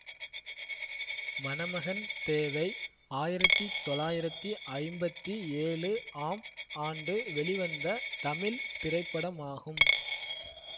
மணமகன் தேவை ஆயிரத்தி தொளாயிரத்தி ஐம்பத்தி ஏழு ஆம் ஆண்டு வெளிவந்த தமிழ் திரைப்படமாகும்